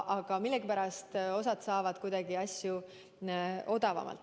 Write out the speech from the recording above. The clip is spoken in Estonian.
Aga millegipärast osa saab reklaami odavamalt.